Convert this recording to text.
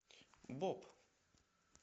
боп